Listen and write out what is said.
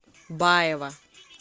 баева